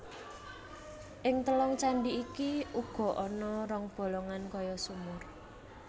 Ing telung candhi iki uga ana rong bolongan kaya sumur